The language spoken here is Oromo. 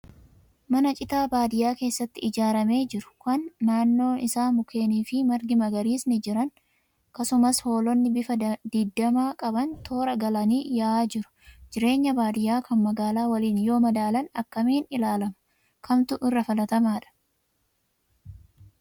Mana citaa baadiyaa keessatti ijaaramee jiru, kan naannoo isaa mukeenii fi margi magariisni jiran. Akkasumas hoolonni bifa didiimaa qaban toora galanii yaa'aa jiru. Jireenyi baadiyaa kan magaalaa waliin yoo madaalan akkamiin ilaalama? Kamtu irra filatamaadha?